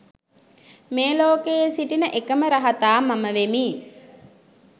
මේ ලෝකයේ සිටින එකම රහතා මම වෙමි